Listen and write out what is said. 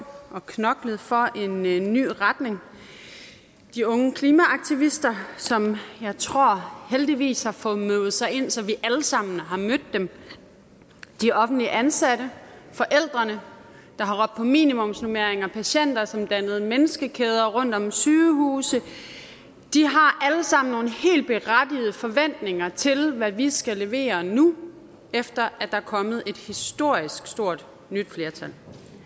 og knoklet for en en ny retning de unge klimaaktivister som jeg tror heldigvis har fået møvet sig ind så vi alle sammen har mødt dem de offentligt ansatte forældrene der har råbt på minimumsnormeringer patienter som dannede menneskekæder rundt om sygehuse de har alle sammen nogle helt berettigede forventninger til hvad vi skal levere nu efter at der er kommet et historisk stort nyt flertal